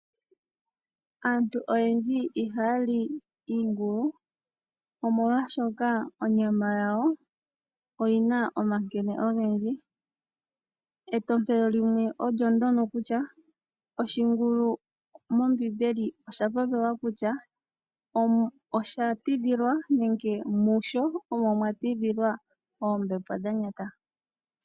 Aantu oyendji ihaya li iingulu omolwaashoka onyama yawo oyina omankene ogendji, entompelo limwe olyo ndono kutya oshingulu mombiimbeli osha popilwa mo kulya osha tidhilwa nenge musho omo mwatidhilwa oombepo dhanyata.